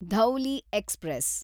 Dhauli express